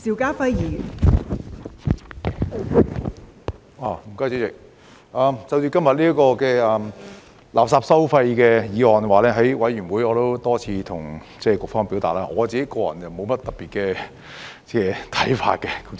就着今天這項垃圾收費的法案，在法案委員會我也多次向局方表達，我個人沒有甚麼特別的看法。